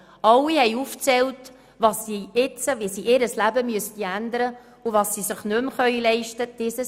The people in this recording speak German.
Alle zählten auf, wie sie ihr Leben ändern müssten und was sie sich nicht mehr leisten könnten.